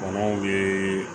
Kɔnɔw bɛ